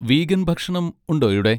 Vegan ഭക്ഷണം ഉണ്ടോ ഇവിടെ?